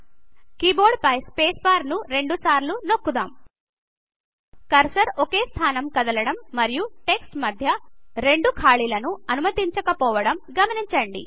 keyboard పై space bar ను రెండు సార్లు నొకూద్దామ్ కర్సర్ ఒకే స్థానం కదలడం మరియు టెక్స్ట్ మధ్య రెండు ఖాళీల ను అనుమతించకపోవడం గమనించండి